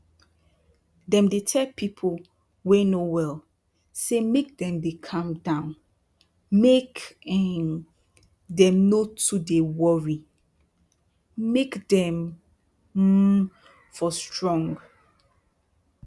dem dey tell pipu wey no well say make dem dey calm down make um dem no too dey worry make dem um for strong